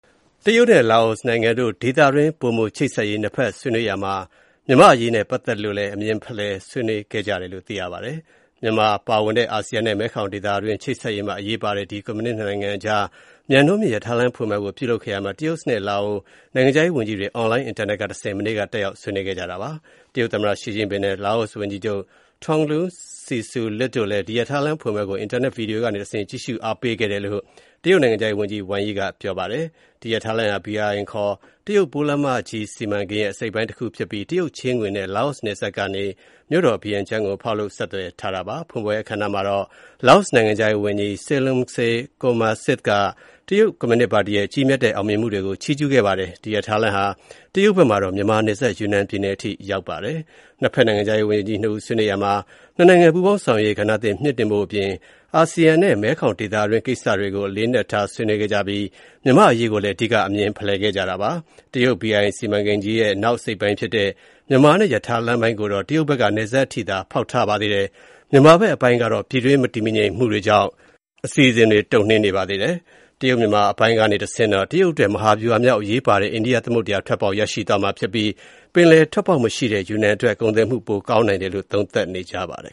တရုတ်နဲ့ လာအိုနိုင်ငံတို့ ဒေသတွင်း ပိုမိုချိတ်ဆက်ရေး နှစ်ဖက်ဆွေးနွေးရာမှာ မြန်မာ့အရေးနဲ့ ပတ်သက်လို့ အမြင်ဖလှယ် ဆွေးနွေးခဲ့ကြတယ်လို့ သိရပါတယ်။ မြန်မာပါဝင်တဲ့ အာဆီယံနဲ့ မဲခေါင်ဒေသတွင်း ချိတ်ဆက်ရေးမှာ အရေးပါတဲ့ ဒီ ကွန်မြူနစ် ၂ နိုင်ငံကြား မြန်နှုန်းမြင့်ရထားလမ်းဖွင့်ပွဲကို ပြုလုပ်ခဲ့ရာမှာ တရုတ်နဲ့ လာအို နိုင်ငံခြားရေးဝန်ကြီးတွေ Online အင်တာနက်ကတဆင့် မနေ့က တက်ရောက် ဆွေးနွေးခဲ့ကြပါတယ်။ တရုတ်သမ္မတ Xi Jinping နဲ့ လာအိုဝန်ကြီးချုပ် Thongloun Sisoulith တို့လည်း ဒီ ရထားလမ်းဖွင့်ပွဲကို အင်တာနက် ဗွီဒီယိုကတဆင့် ကြည့်ရှုအားပေးခဲ့ကြတယ်လို့ တရုတ်နိုင်ငံခြားရေးဝန်ကြီး Wang Yi က ပြောပါတယ်။ ဒီရထားလမ်းဟာ BRI ခေါ် တရုတ်ပိုးလမ်းမကြီး စီမံကိန်းရဲ့ အစိတ်အပိုင်းတခုဖြစ်ပြီး တရုတ်ချေးငွေနဲ့ လာအိုနယ်စပ်ကနေ မြို့တော် ဗီယန်ကျင်းကို ဖောက်လုပ် ဆက်သွယ်ထားတာပါ။ ဖွင့်ပွဲအခမ်းအနားမှာတော့ လာအိုနိုင်ငံခြားရေးဝန်ကြီး Saleumxay Kommasith က တရုတ်ကွန်မြူနစ်ပါတီရဲ့ ကြီးမြတ်တဲ့ အောင်မြင်မှုတွေကို ချီးကျူးခဲ့ပါတယ်။ ဒီရထားလမ်းဟာ တရုတ်ဘက်မှာတော့ မြန်မာနယ်စပ် ယူနန်ပြည်နယ်အထိ ရောက်ပါတယ်။ နှစ်ဖက် နိုင်ငံခြားရေးဝန်ကြီး ၂ ဦး ဆွေးနွေးရာမှာ နှစ်နိုင်ငံ ပူးပေါင်းဆောင်ရွက်ရေး ကဏ္ဍသစ် မြှင့်တင်ဖို့အပြင် အာဆီယံနဲ့ မဲခေါင်ဒေသတွင်း ကိစ္စတွေကို အလေးအနက် ဆွေးနွေးခဲ့ပြီး မြန်မာ့အရေးလည်း အဓိက အမြင်ဖလှယ်ခဲ့ကြပါတယ်။ တရုတ် BRI စီမံကိန်းကြီးရဲ့ နောက်အစိတ်အပိုင်းဖြစ်တဲ့ မြန်မာနဲ့ ရထားလမ်းပိုင်းကိုတော့ တရုတ်ဘက်က နယ်စပ်အထိသာ ဖောက်ထားပါသေးတယ်။ မြန်မာနိုင်ငံဘက်အပိုင်းကတော့ ပြည်တွင်းမတည်မငြိမ်မှုတွေကြောင့် အစီအစဉ်တွေ တုံ့နှေးနေပါတယ်။ တရုတ်-မြန်မာ အပိုင်းကနေတဆင့်တော့ တရုတ်အတွက် မဟာဗျူဟာမြောက် အရေးပါတဲ့ အိန္ဒိယ သမုဒ္ဒရာထွက်ပေါက် ရရှိသွားမှာဖြစ်ပြီး ပင်လယ်ထွက်ပေါက်မရှိတဲ့ ယူနန်အတွက် ကုန်သွယ်မှု ပိုကောင်းနိုင်တယ်လို့ သုံးသပ်ကြပါတယ်